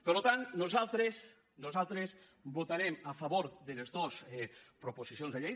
per tant nosaltres votarem a favor de les dos proposicions de llei